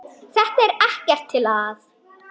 Þetta er ekkert til að.